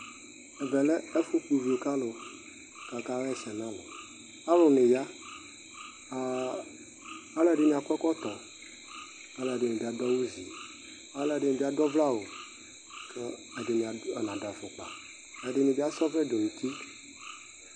Ɛvɛ lɛ ɛfʋ kp'uvio k'alʋ k'aka hɛsɛ n'alʋ Alʋ niya, ava , alʋ ɛdini bi ad'ɔvkɛ awʋ kʋ ɛdini na dʋ afʋkpa, ɛdini bi as'ɔvlɛ dʋ n'uti